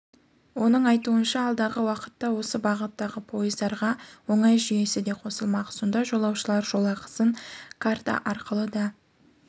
оның айтуынша алдағы уақытта осы бағыттағы пойыздарға оңай жүйесі де қосылмақ сонда жолаушылар жолақысын картаарқылы да